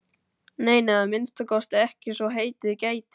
Nei, nei, að minnsta kosti ekki svo heitið gæti.